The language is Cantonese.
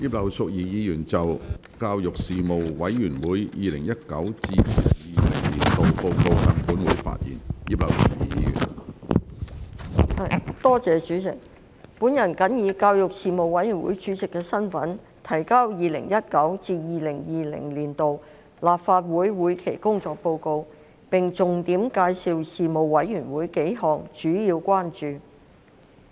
主席，我謹以教育事務委員會主席的身份，提交事務委員會 2019-2020 年度報告，並重點介紹數項主要關注。